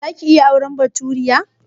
Za ka iya auren baturiya?